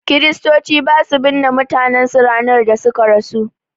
Kristoci basu binne mutanen su ranar da suka rasu